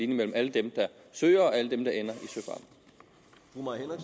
mellem alle dem der søger og alle dem der ender